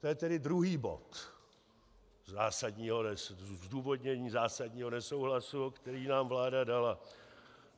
To je tedy druhý bod zdůvodnění zásadního nesouhlasu, který nám vláda dala.